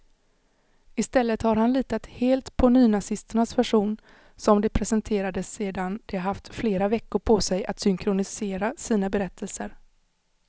I stället har han litat helt på nynazisternas version, som de presenterade sedan de haft flera veckor på sig att synkronisera sina berättelser.